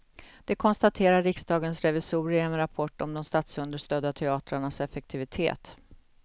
Det konstaterar riksdagens revisorer i en rapport om de statsunderstödda teatrarnas effektivitet.